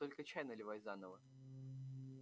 только чай наливай заново